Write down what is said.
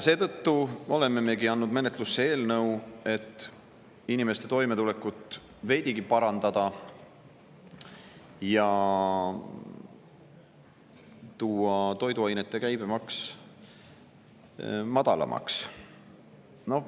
Seetõttu oleme andnud menetlusse eelnõu, et inimeste toimetulekut veidigi parandada ja tuua toiduainete käibemaks madalamaks.